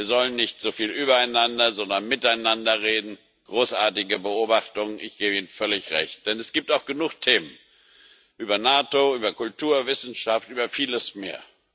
Wir sollen nicht so viel übereinander, sondern miteinander reden großartige Beobachtung. Ich gebe Ihnen völlig Recht. Denn es gibt auch genug Themen, NATO, Kultur, Wissenschaft, vieles mehr.